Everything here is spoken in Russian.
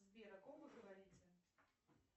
сбер о ком вы говорите